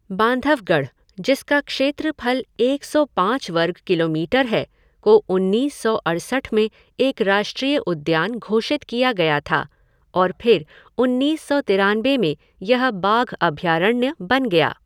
बांधवगढ़, जिसका क्षेत्रफल एक सौ पाँच वर्ग किलोमीटर है, को उन्नीस सौ अड़सठ में एक राष्ट्रीय उद्यान घोषित किया गया था और फिर उन्नीस सौ तिरानबे में यह बाघ अभयारण्य बन गया।